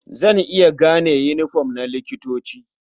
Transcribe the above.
Zan iya gane yiniform na likitoci.